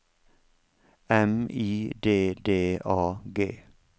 M I D D A G